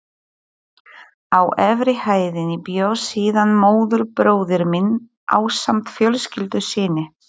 Á efri hæðinni bjó síðan móðurbróðir minn ásamt fjölskyldu sinni.